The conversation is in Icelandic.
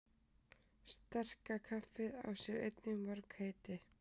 Sterka kaffið á sér einnig mörg heiti.